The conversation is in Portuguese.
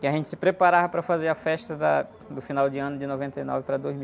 Que a gente se preparava para fazer a festa da, do final de ano de noventa e nove para dois mil.